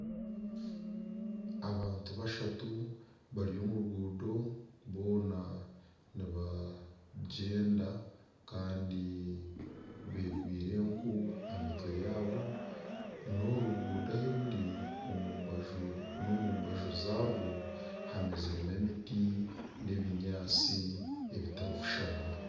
Abantu bashatu bari omu ruguuto boona nibagyenda kandi beegwire enku aha mitwe yaabo. N'oru ruguuto ahu ruri omu mbaju n'omu mbaju zaarwo hameziremu emiti n'ebinyaatsi ebitari kushushana.